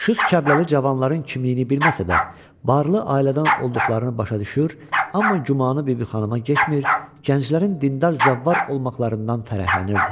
Şıx Kəlbəli cavanların kimliyini bilməsə də, barlı ailədən olduqlarını başa düşür, amma gümanı Bibixanıma getmir, gənclərin dindar zəvvar olmaqlarından fərəhlənirdi.